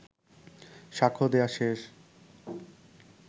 সাক্ষ্য দেয়া শেষ